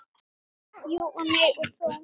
Jú og nei og þó.